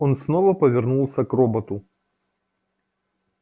он снова повернулся к роботу